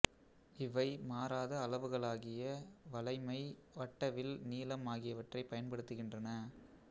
இவை மாறாத அளவுகளாகிய வளைமை வட்டவில் நீளம் ஆகியவற்றைப் பயன்படுத்துகின்றன